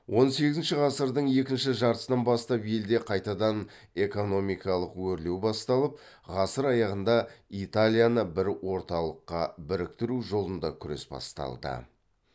он сегізінші ғасырдың екінші жартысынан бастап елде қайтадан экономикалық өрлеу басталып ғасыр аяғында италияны бір орталыққа біріктіру жолында күрес басталды